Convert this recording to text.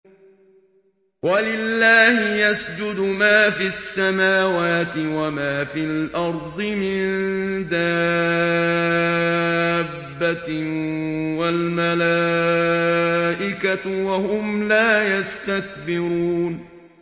وَلِلَّهِ يَسْجُدُ مَا فِي السَّمَاوَاتِ وَمَا فِي الْأَرْضِ مِن دَابَّةٍ وَالْمَلَائِكَةُ وَهُمْ لَا يَسْتَكْبِرُونَ